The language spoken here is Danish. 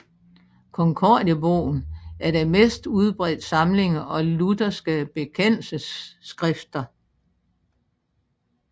Konkordiebogen er den mest udbredte samling af lutherske bekendelsesskrifter